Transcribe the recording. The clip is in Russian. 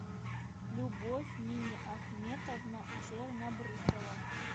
любовь миниахметовна чернобрысова